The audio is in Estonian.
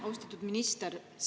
Austatud minister!